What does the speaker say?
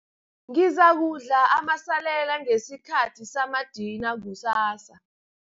Ngizakudla amasalela ngesikhathi samadina kusasa.